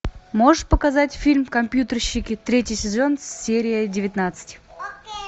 можешь показать фильм компьютерщики третий сезон серия девятнадцать